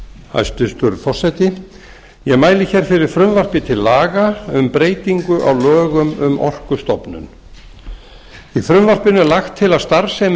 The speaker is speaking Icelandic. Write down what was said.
hæstvirtur forseti ég mæli hér fyrir frumvarpi til laga um breytingu á lögum um orkustofnun í frumvarpinu er lagt til að starfsemi